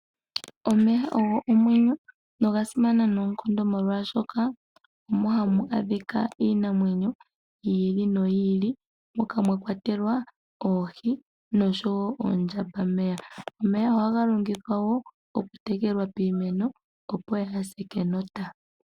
Omeya ogo omwenyo, noga simana noonkondo molwaashoka omo hamu adhika iinamwenyo yi ili noyi ili, moka mwa kwatelwa oohi noondjambameya. Omwya ohaga longithwa wo okutekela piimeno, opo yaase kenota.